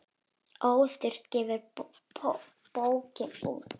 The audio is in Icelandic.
Óþurft gefur bókina út.